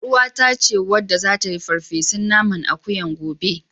YarUwata ce wadda zata yi farfesun naman akuyan gobe.